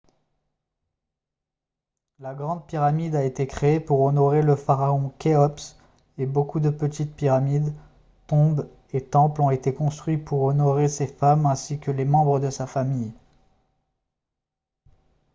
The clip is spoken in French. la grande pyramide a été créée pour honorer le pharaon khéops et beaucoup de petites pyramides tombes et temples ont été construits pour honorer ses femmes ainsi que les membres de sa famille